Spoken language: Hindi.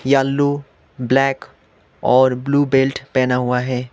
येलो ब्लैक और ब्लू बेल्ट पहना हुआ है।